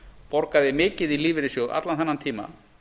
borgaði mikið í lífeyrissjóð allan þennan tíma